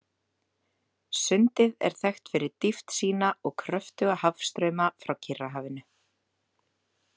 Sundið er þekkt fyrir dýpt sína og kröftuga hafstrauma frá Kyrrahafinu.